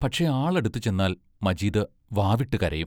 പക്ഷേ, ആള് അടുത്തു ചെന്നാൽ മജീദ് വാവിട്ടു കരയും.